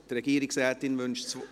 Die Regierungsrätin wünscht das …